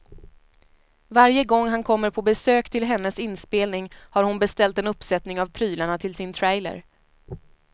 Varje gång han kommer på besök till hennes inspelning har hon beställt en uppsättning av prylarna till sin trailer.